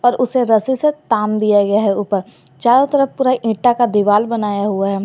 उसे रस्सी से तान दिया गया है उपर चारों तरफ पूरा ईटा का दीवार बनाया हुआ है।